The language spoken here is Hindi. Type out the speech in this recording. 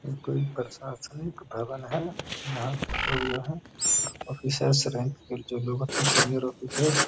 ये कोई प्रशासनिक भवन है यहां पर लोग जो है ऑफिसियल पे जो लोग अपने सीनियर ऑफिसर --